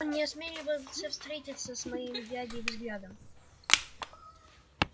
он не осмеливался встретиться со моим дядей взглядом